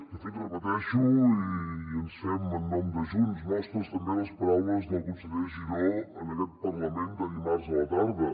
de fet ho repeteixo i ens fem en nom de junts nostres també les paraules del conseller giró en aquest parlament de dimarts a la tarda